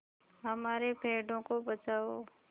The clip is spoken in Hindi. हमारे पेड़ों को बचाओ